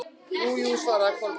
Jú, jú- svaraði Kolbrún.